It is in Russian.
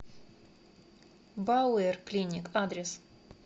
бауэр клиник адрес